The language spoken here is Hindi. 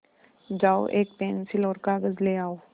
जाओ एक पेन्सिल और कागज़ ले आओ